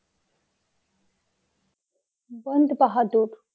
বন্দ বাহাদুর!